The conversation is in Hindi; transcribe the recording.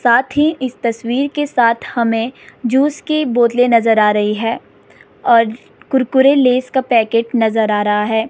साथ ही इस तस्वीर के साथ हमें जूस की बोतलें नजर आ रही है और कुरकुरे लेस का पैकेट नजर आ रहा है।